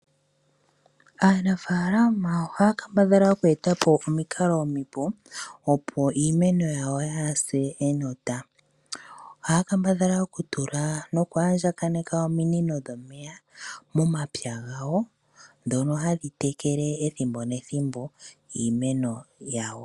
Aanafaalama ohaya kambadhala oku eta po omikalo omipe opo iimeno yawo yaase enota. Ohaya kambadhala oku tula noku andjakaneka ominino dhomeya momapya gawo ndhono hadhi tekele edhimbo nethimbo iimeno yawo.